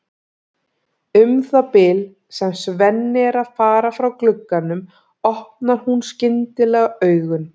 Um það bil sem Svenni er að fara frá glugganum opnar hún skyndilega augun.